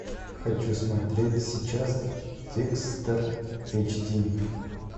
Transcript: хочу смотреть сейчас декстер эйч ди